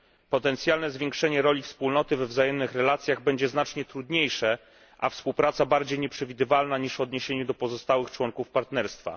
Potencjalne zwiększenie roli Wspólnoty we wzajemnych relacjach będzie znacznie trudniejsze, a współpraca bardziej nieprzewidywalna niż w odniesieniu do pozostałych członków Partnerstwa.